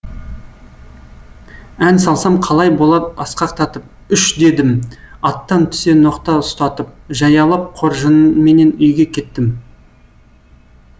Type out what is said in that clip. ән салсам қалай болар асқақтатып үш дедім аттан түсе ноқта ұстатып жаяулап қоржынменен үйге кеттім